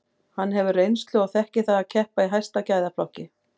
Hann hefur reynslu og þekkir það að keppa í hæsta gæðaflokki.